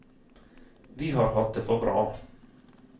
Vi har hatt det for bra.